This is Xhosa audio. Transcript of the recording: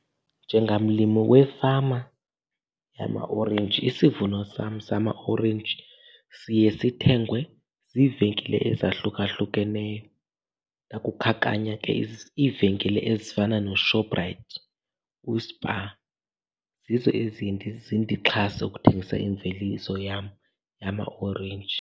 Njengamlimi wefama yamaorenji, isivuno sam samaorenji siye sithengwe ziivenkile ezahlukahlukeneyo. Ndakukhankanya ke iivenkile ezifana noShoprite, uSpar, zizo eziye zindixhase ukuthengisa imveliso yam yamaorenji.